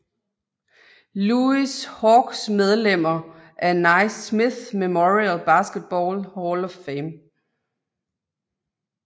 Louis Hawks Medlemmer af Naismith Memorial Basketball Hall of Fame